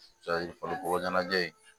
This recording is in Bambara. farikolo ɲɛnajɛ in